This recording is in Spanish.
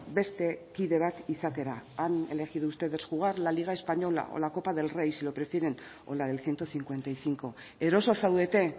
beste kide bat izatera han elegido ustedes jugar la liga española o la copa del rey si lo prefieren o la del ciento cincuenta y cinco eroso zaudete